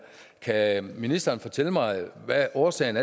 kan ministeren fortælle mig hvad der er årsagen